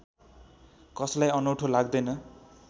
कसलाई अनौठो लाग्दैन